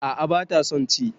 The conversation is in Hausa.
A'a bata son ci